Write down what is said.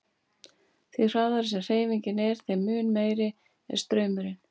Því hraðari sem hreyfingin er þeim mun meiri er straumurinn.